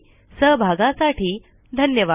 सहभागासाठी धन्यवाद